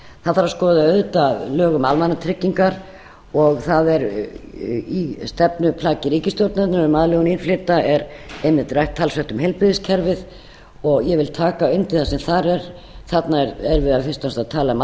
það þarf að skoða auðvitað lög um almannatryggingar og það er í stefnuplaggi ríkisstjórnarinnar um aðlögun innflytjenda er einmitt rætt talsvert um heilbrigðiskerfið og ég vil taka undir það sem þar er þarna er verið fyrst og fremst að tala um